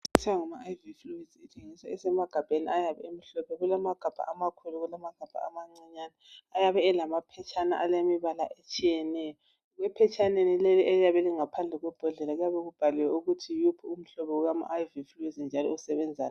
Kuthiwa ngama Iv fluids, kuthengiswa kusemagabheni ayabe emhlophe. Kulamagabha amakhulu, kulamagabha amancinyane ayabe elamaphetshana alemibala etshiyeneyo. Ephetshaneni leli eliyabe lingaphandle kwembodlela kuyabe kubhaliwe ukuthi yiwuphi umhlobo owama Iv fluids njalo usebenzani.